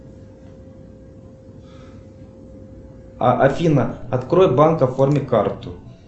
афина открой банк оформи карту